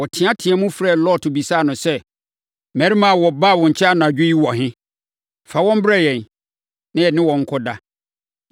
Wɔteateaam frɛɛ Lot bisaa no sɛ, “Mmarima a wɔbaa wo nkyɛn anadwo yi wɔ he? Fa wɔn brɛ yɛn, na yɛne wɔn nkɔda.”